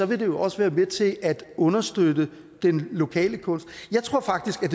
vil det jo også være med til at understøtte den lokale kunst jeg tror faktisk at